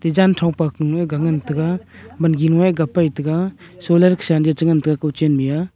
janthong pak panu ga ngan tega wangi ega pai taiga solar khesa chengan tega kuchen Mia.